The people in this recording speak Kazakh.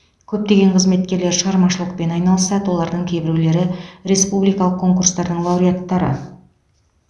көптеген қызметкерлер шығармашылықпен айналысады олардың кейбіреулері республикалық конкурстардың лауреаттары